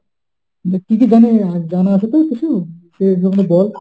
না, কি কি জানিনা, জানা আছে তোর কিছু? সেগুলো বল,